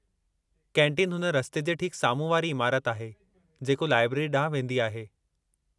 Canteen हुन रस्ते जे ठीक साम्हूं वारी इमारत आहे जेको लाइब्रेरी ॾांहुं वेंदी आहे।